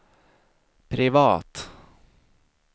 privat